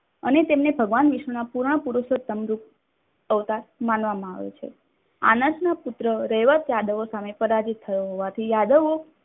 અને તેમને ભગવાન વિષ્ણુના પુરાણપુરુષના અવતાર તરીકે માનવામાં આવે છે. આંશના પુત્ર રૈવત યાદવો સામે પરાજિત થયો હોવાથી યાદવ